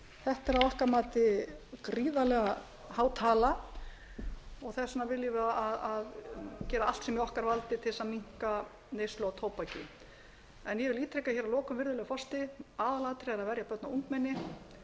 þetta er að okkar mati gríðarlega há tala þess vegna viljum við gera allt sem í okkar valdi til þess að minnka neyslu á tóbaki ég vil ítreka hér að lokum virðulegi forseti að aðalatriðið er að verja börn og ungmenni það